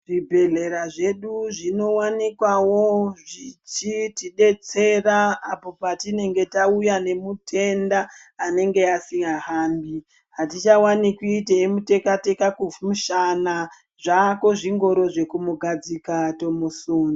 Zvibhedhlera zvedu zvinowanikwavo zvichitidetsera apo patinenga tauya nemutenda anenge asingahambi. Hatichawanikwi teimuteka teka kumushana , zvaako zvingoro zvekumugadzika tomusunda.